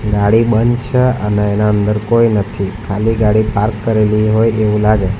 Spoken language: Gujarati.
ગાડી બંધ છે અને એના અંદર કોઈ નથી ખાલી ગાડી પાર્ક કરેલી હોય એવું લાગે--